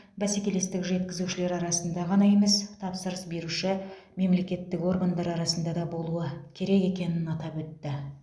бәсекелестік жеткізушілер арасында ғана емес тапсырыс беруші мемлекеттік органдар арасында да болуы керек екенін атап өтті